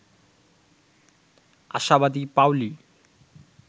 আশাবাদি Paoli